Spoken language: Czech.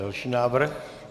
Další návrh.